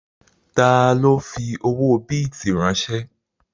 Ta ló fi owó bìtì ránsẹ́?